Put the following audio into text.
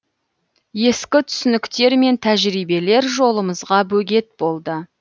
ескі түсініктер мен тәжірибелер жолымызға бөгет болды